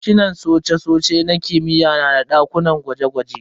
Sashinan cosa-cosai na kimiyya na da dakunan gwaje-gwaje.